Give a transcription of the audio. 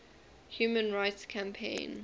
human rights campaign